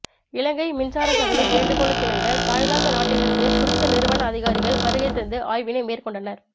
இலங்கை மின்சாரசபையின் வேண்டுகோளுக்கிணங்க தாய்லாந்து நாட்டிலிருந்து குறித்த நிறுவன அதிகாரிகள் வருகைத்தந்து ஆய்வினை மேற்கொண்டனர்